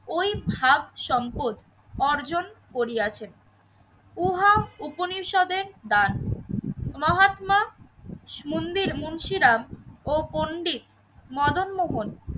ওই ভাব সম্পদ অর্জন করিয়াছেন। উহা উপনিষদে দান মহাত্মা মন্দির মুন্সিরাম ও পণ্ডিত মদনমোহন